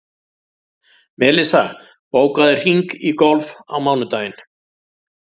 Melissa, bókaðu hring í golf á mánudaginn.